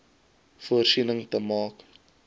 voorsiening te maak